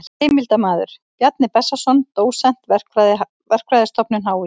Heimildarmaður: Bjarni Bessason dósent, Verkfræðistofnun HÍ.